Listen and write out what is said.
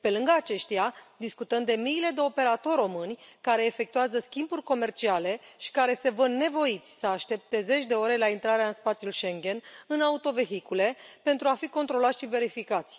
Pe lângă aceștia, discutăm de miile de operatori români care efectuează schimburi comerciale și care se văd nevoiți să aștepte zeci de ore la intrarea în spațiul Schengen în autovehicule pentru a fi controlați și verificați.